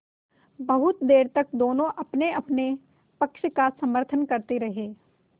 बहुत देर तक दोनों दल अपनेअपने पक्ष का समर्थन करते रहे